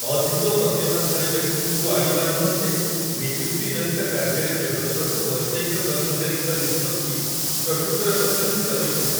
ଅଧିକ ପ୍ରତିଭାଶାଳୀ ବ୍ୟକ୍ତିଙ୍କୁ ଆଣିବା ନିମନ୍ତେ ନିଯୁକ୍ତି ଜନିତ କାର୍ଯ୍ୟରେ ଯୋଗଦେବାକୁ ବୈଷୟିକ କର୍ମଚାରୀଙ୍କ ନିଷ୍ପତ୍ତି ପ୍ରକୃତରେ ପ୍ରଶଂସିତ ହୋଇଥିଲା।